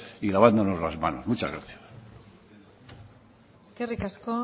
y lavándonos las manos muchas gracias eskerrik asko